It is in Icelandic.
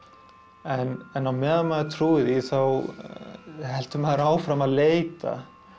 en á meðan maður trúir því þá heldur maður áfram að leita